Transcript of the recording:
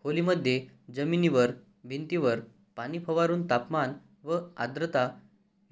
खोलीमध्ये जमिनीवर भिंतींवर पाणी फवारून तापमान व आर्द्रता